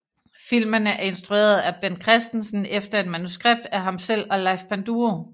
Filmen er instrueret af Bent Christensen efter et manuskript af ham selv og Leif Panduro